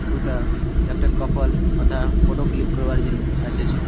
দুটা-আ একটা কপাল ওথা ফটো ক্লিক করবার জন্য এসেছে।